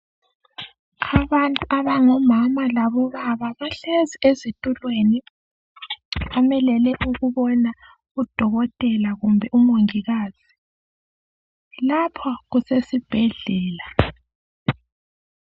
Abantu abangomama labobaba bahlezi ezitulweni bamelele ukubona udokotela kumbe umongikazi. Lapha kusesibhedlela.